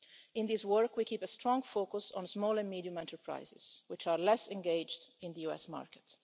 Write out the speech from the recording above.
In this work we keep a strong focus on small and medium-sized enterprises which are less engaged in the US market.